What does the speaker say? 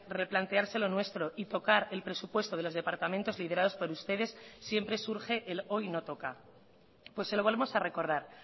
replantearse lo nuestro y tocar el presupuesto de los departamentos liderados por ustedes siempre surge el hoy no toca pues se lo volvemos a recordar